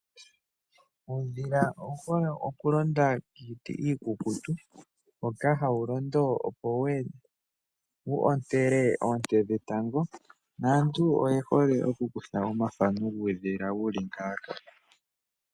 Uudhila owu hole oku londa kiiti iikukutu hoka hawu londo opo wu ontele oonte dhetango, naantu oye hole oku kutha omathano kuudhila wuli ngaaka.